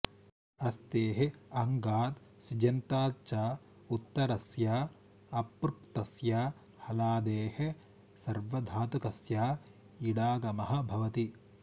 अस्तेः अङ्गात् सिजन्तात् च उत्तरस्य अपृक्तस्य हलादेः सार्वधातुकस्य ईडागमः भवति